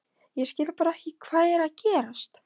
Ég skil bara ekki hvað er að gerast.